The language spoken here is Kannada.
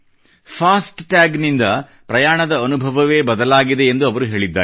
ಫಾಸ್ಟ್ ಟ್ಯಾಗ್ ನಿಂದ ಪ್ರಯಾಣದ ಅನುಭವವೇ ಬದಲಾಗಿದೆ ಎಂದು ಅವರು ಹೇಳಿದ್ದಾರೆ